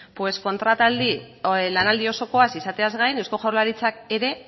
kontrataldi lanaldia osokoaz izateaz gain eusko jaurlaritzak ere